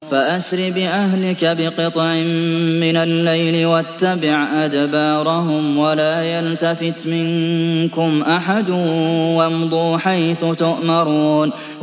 فَأَسْرِ بِأَهْلِكَ بِقِطْعٍ مِّنَ اللَّيْلِ وَاتَّبِعْ أَدْبَارَهُمْ وَلَا يَلْتَفِتْ مِنكُمْ أَحَدٌ وَامْضُوا حَيْثُ تُؤْمَرُونَ